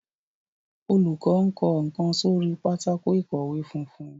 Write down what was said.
olùkó nkó nkán sórí Pátákó ìkọ̀wé funfun.